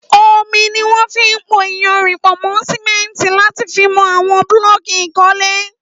Ómi niwọn fi n pó iyànrín pọ̀ mọ simẹ̀ntí làtí fi mọ awọn blọ̀kí ikọ̀lè